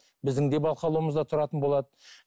біздің де бақылауымызда тұратын болады